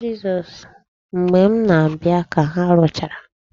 Mgbe m na-abịa ka ha rụchara.